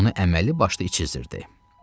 Onu əməli başlı içizdirdi.